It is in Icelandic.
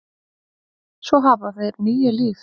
Svo hafa þeir níu líf.